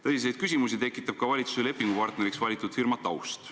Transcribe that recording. Tõsiseid küsimusi tekitab ka valitsuse lepingupartneriks valitud firma taust.